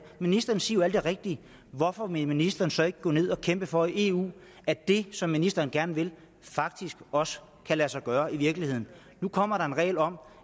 ministeren siger jo alt det rigtige hvorfor vil ministeren så ikke gå ned og kæmpe for i eu at det som ministeren gerne vil faktisk også kan lade sig gøre i virkeligheden nu kommer der en regel om